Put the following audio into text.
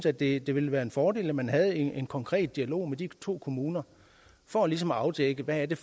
at det det ville være en fordel at man havde en konkret dialog med de to kommuner for ligesom at afdække hvad det